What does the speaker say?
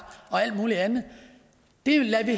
og alt muligt andet det lader vi